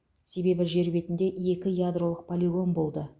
себебі жер бетінде екі ядролық полигон болды